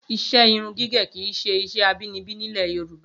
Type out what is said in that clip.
Iṣẹ́ irun gígẹ̀ kí í ṣe iṣẹ́ abinibi nílẹ̀ Yorùbá